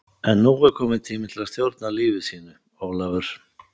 En nú er kominn tími til að stjórna lífi sínu, Ólafur.